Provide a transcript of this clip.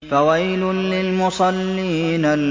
فَوَيْلٌ لِّلْمُصَلِّينَ